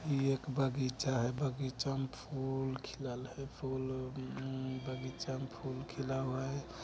इ एक बगीचा है। बगीचा मा फूल खिलाल है। फूल अम्म बगीचा में फूल खिला हुआ है।